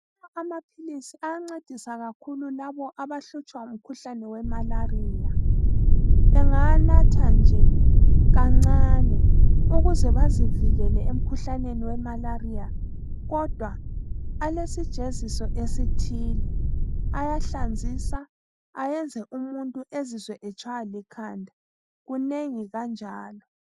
Amaphilisi ayancedisa kakhulu labo abahlutshwa ngumkhuhlane wemalariya. Bengawanatha nje kancane, ukuze bazivikele emkhuhlaneni wemalariya kodwa alesijeziso esithile. Ayahlanzisa ayenze umuntu azizwe etshaywa likhanda. Kunengi kanjalo.